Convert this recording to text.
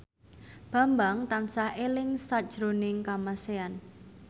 Bambang tansah eling sakjroning Kamasean